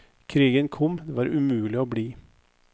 Krigen kom, det var umulig å bli.